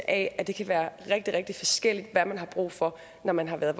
at det kan være rigtig rigtig forskelligt hvad man har brug for at når man har været